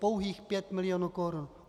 Pouhých 5 milionů korun.